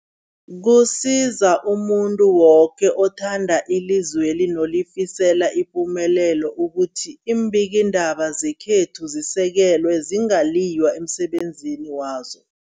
Kusiza umuntu woke othanda ilizweli nolifisela ipumelelo ukuthi iimbikiindaba zekhethu zisekelwe, zingaliywa emsebenzini wazo.